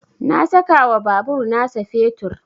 Na saka wa babur na sa fetur